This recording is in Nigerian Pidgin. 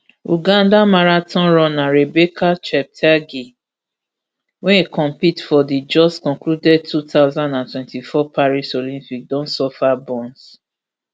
ugandan marathon runner rebecca cheptegei wey compete for di just concluded two thousand and twenty-four paris olympics don suffer burns